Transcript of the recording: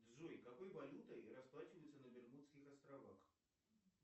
джой какой валютой расплачиваются на бермудских островах